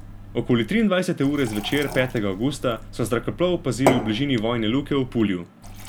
Okoli triindvajsete ure zvečer petega avgusta so zrakoplov opazili v bližini vojne luke v Pulju.